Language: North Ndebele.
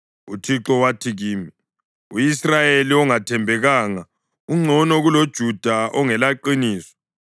UThixo wathi kimi, “U-Israyeli ongathembekanga ungcono kuloJuda ongelaqiniso.